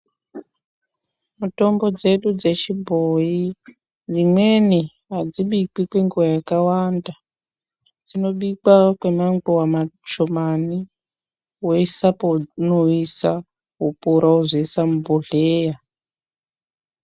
Mitombo dzedu dzechibhoyi imweni adzibikwi kwenguwa yakawanda dzinobikwa kwemanguwa mashomani woisa paunoisa wopora wozoisa muzvibhohleya.